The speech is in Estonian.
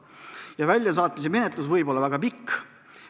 Ja väljasaatmise menetlus võib olla väga pikk.